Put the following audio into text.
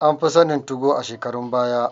An fi sanin 2go a shekarun baya